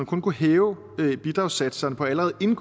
kunne hæve bidragssatserne på allerede